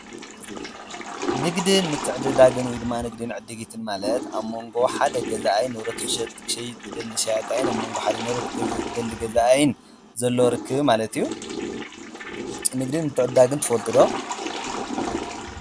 ንግድን ምትዕድዳግን ወይ ድማ ንግድን ዕድጊትን ማለት ኣብ መንጎ ሓደ ገዛኣይን ንብረት ክሸይጥ ዝደሊ ሸያጣኣይን ኣብ መንጎ ሓደ ንብረት ዝደሊ ገዛኣይን ዘለዎርክብ ማለት እዩ፡፡ ንግድን ምትዕዳግን ትፈልጡ ዶ?